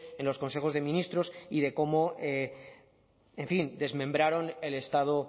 en los consejos de ministros y de cómo desmembraron el estado